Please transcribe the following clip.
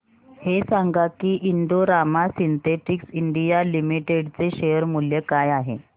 हे सांगा की Indo Rama synthetics India limited चे शेअर मूल्य काय आहे